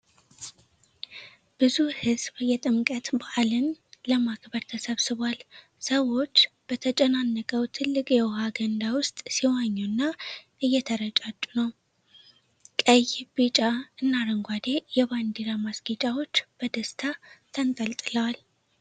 ብዙ ሕዝብ የጥምቀት በዓልን ለማክበር ተሰብስቧል። ሰዎች በተጨናነቀው ትልቅ የውሃ ገንዳ ውስጥ ሲዋኙና እየተረጩ ነው። ቀይ፣ ቢጫ እና አረንጓዴ የባንዲራ ማስጌጫዎች በደስታ ተንጠልጥለዋል።